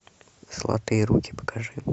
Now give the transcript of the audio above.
золотые руки покажи